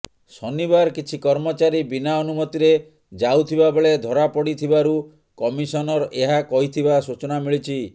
ଶନିବାର କିଛି କର୍ମଚାରୀ ବିନା ଅନୁମତିରେ ଯାଉଥିବା ବେଳେ ଧରାପଡିଥିବାରୁ କମିଶନର ଏହା କହିଥିବା ସୂଚନା ମିଳିଛି